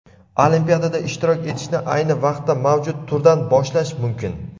olimpiadada ishtirok etishni ayni vaqtda mavjud turdan boshlash mumkin!.